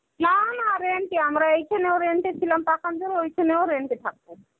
না না, rent এ আমরা এখানেও rent এ ছিলাম পাখান্জরে ঐখানেও rent এ থাকবো.